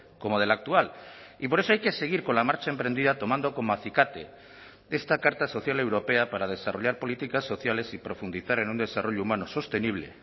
como del actual y por eso hay que seguir con la marcha emprendida tomando como acicate esta carta social europea para desarrollar políticas sociales y profundizar en un desarrollo humano sostenible